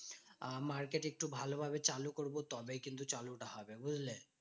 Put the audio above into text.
আহ market একটু ভালোভাবে চালু করবো তবেই কিন্তু চালুটা হবে, বুঝলে?